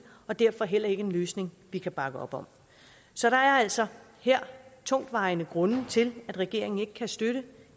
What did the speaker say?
og derfor heller ikke en løsning vi kan bakke op om så der er altså her tungtvejende grunde til at regeringen ikke kan støtte